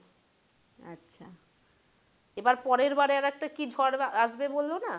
এবার পরের বাড়ে একটা কি ঝড় আসবে বললো না?